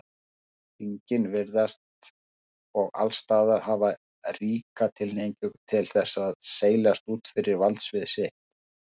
Þingin virðast og allsstaðar hafa ríka tilhneigingu til þess að seilast út fyrir verksvið sitt.